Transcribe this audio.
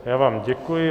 Já vám děkuji.